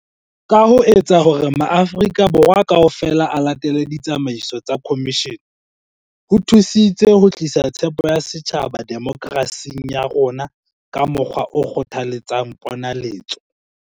Ka ho etsa hore maAfri-ka Borwa kaofela a latele ditsamaiso tsa khomishene, ho thusitse ho tlisa tshepo ya setjhaba demokerasing ya rona ka mokgwa o kgothaletsang ponaletso.